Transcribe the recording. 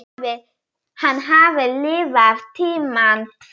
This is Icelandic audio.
Hann hafði lifað tímana tvenna.